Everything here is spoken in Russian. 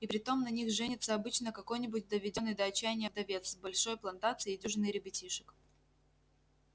и притом на них женится обычно какой-нибудь доведённый до отчаяния вдовец с большой плантацией и дюжиной ребятишек